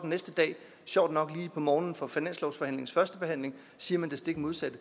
næste dag sjovt nok lige om morgenen for finanslovsforslagets første behandling siger det stik modsatte